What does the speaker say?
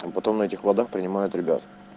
там потом на этих водах принимают ребят